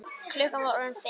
Klukkan var orðin fimm.